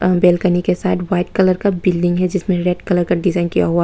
अं balcony के साथ white colour का बिल्डिंग है जिसमें रेड कलर का डिजाइन किया हुआ--